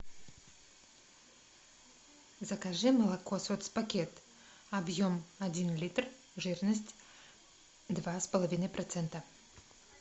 закажи молоко соцпакет объем один литр жирность два с половиной процента